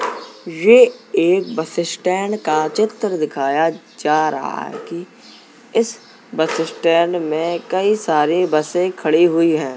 ये एक bus stand का चित्र दिखाया जा रहा है कि इस बस स्टैंड में कई सारे बसे खड़ी हुई हैं।